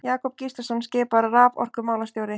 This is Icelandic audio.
Jakob Gíslason skipaður raforkumálastjóri.